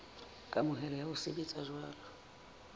kamohelo ya ho sebetsa jwalo